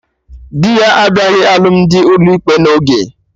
Dị ya abịaghị alụmdi ụlọ ikpe na oge